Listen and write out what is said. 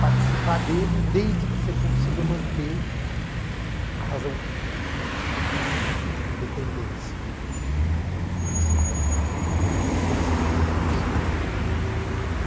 participar dele desde que você consiga manter a razão crítica, a capacidade crítica e a independência, né, o que nem sempre é fácil, na maioria das vezes é quase impossível, né.